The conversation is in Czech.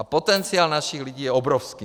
A potenciál našich lidí je obrovský.